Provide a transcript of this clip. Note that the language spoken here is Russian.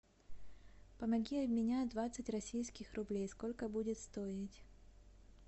помоги обменять двадцать российских рублей сколько будет стоить